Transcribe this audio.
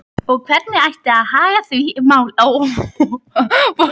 Og hvernig ætti að haga því máli?